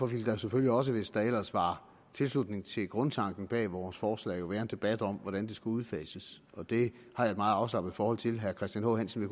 ville der selvfølgelig også hvis der ellers var tilslutning til grundtanken bag vores forslag være en debat om hvordan det skulle udfases og det har jeg et meget afslappet forhold til herre christian h hansen